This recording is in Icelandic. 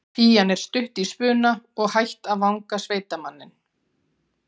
Pían er stutt í spuna og hætt að vanga sveitamanninn.